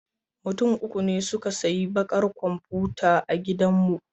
Mutum uku ne suka sayi bakar komfuta a gidanmu.